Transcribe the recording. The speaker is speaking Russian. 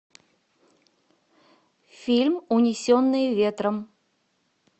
фильм унесенные ветром